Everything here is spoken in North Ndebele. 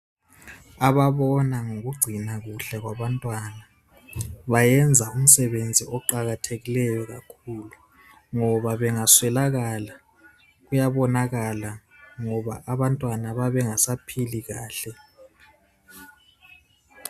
Ababona ngokugcina kuhle kwabantwana bayenza umsebenzi oqakathekileyo kakhulu ngoba bengaswelakala kuyabonakala ngoba abantwana babengasaphili kahle.